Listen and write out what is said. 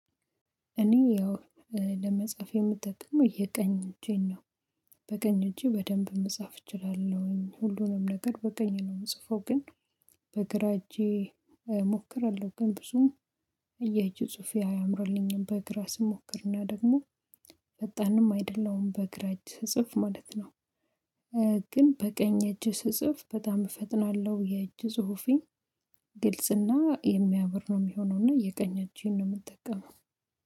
እኔ ያው ለመጻፍ የምጠቀመው የቀኝ እጄን ነው በቀኝ እጄ በደንብ መጻፍ እችላለሁኝ ሁሉንም ነገር በቀኝ ነው የምጽፈው። ግን በግራ እጄ እሞክራለሁ ግን ብዙም የጅ ጽሁፌ አያምራልኝም። በግራ ስሞክር እና ደግሞ ፈጣንም አይደለሁም በግራ እጅ ስጽፍ ማለት ነው። ግን በቀኝ እጄ ስጽፍ በጣም እፈጥናለሁ የእጅ ጽሁፌ ግልጽና የሚያምር ነው የሚሆነው። እና የቀኝ እጄን ነው የምጠቀመው